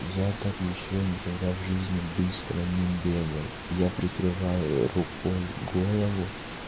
я так ещё никогда в жизни быстро не бегал я прикрываю рукой голову